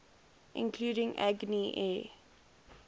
including agni air